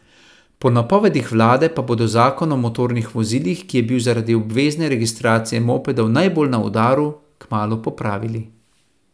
Po napovedih vlade pa bodo zakon o motornih vozilih, ki je bil zaradi obvezne registracije mopedov najbolj na udaru, kmalu popravili.